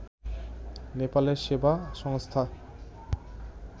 নেপালের সেবা সংস্থা